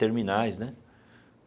Terminais, né?